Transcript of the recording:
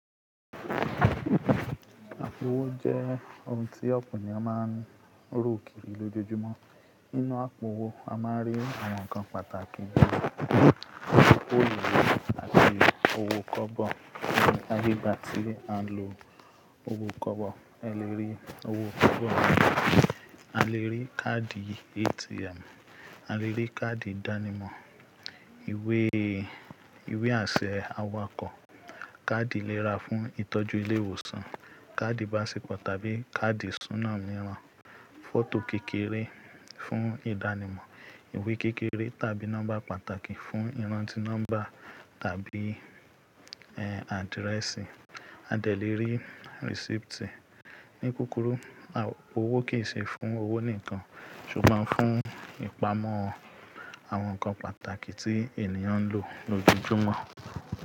Àpò owó jẹ́ oun tí ọ̀pọ̀ ènìyàn máa ń ru kiri lójoojúmọ́. Nínú àpò owó, a máa rí àwọn nǹkan pàtàkì gẹ́gẹ́ bí owó ìwé àti owó kọ́bọ̀. Lẹ́yìn tí a bá gbà ti a ń lo owó kọ́bọ̀, a lè rí owó kọ́bọ̀. A lè rí káàdì ATM, a lè rí káàdì ìdánimọ̀, ìwé, ìwé-àṣẹ awakọ̀, káàdì ìlera fún ìtọ́jú ilé ìwòsàn, káàdì báńsìpọ̀ tàbí káàdì ìṣúná mìíràn, fọ́tò kékeré fún ìdánimọ̀, ìwé kékeré tàbí nọ́mbà pàtàkì fún ìrántí nọ́mbà tàbí ẹ̀, àdírẹ́sì, a dẹ̀ lè rí rísípítì. Ní kukuru, àpò owó kì í ṣe fún owó nìkan, ṣùgbọ́n fún ìpamọ́ àwọn nǹkan pàtàkì tí ènìyàn ń lò lójoojúmọ́